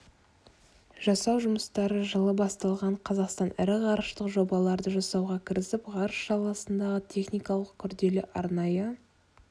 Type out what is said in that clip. жасау жұмыстары жылы басталған қазақстан ірі ғарыштық жобаларды жасауға кірісіп ғарыш саласындағы техникалық күрделі арнайы